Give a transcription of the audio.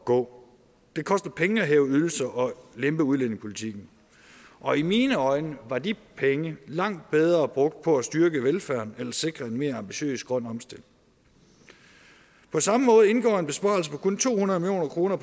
gå det koster penge at hæve ydelser og lempe udlændingepolitikken og i mine øjne var de penge langt bedre brugt på at styrke velfærden eller sikre en mere ambitiøs grøn omstilling på samme måde indgår en besparelse på kun to hundrede million kroner